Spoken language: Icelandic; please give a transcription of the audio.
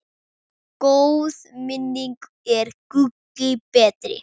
Góð minning er gulli betri.